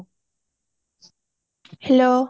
hello